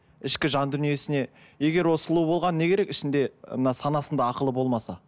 ішкі жан дүниесіне егер ол сұлу болғаны не керек ішінде мына санасында ақылы болмаса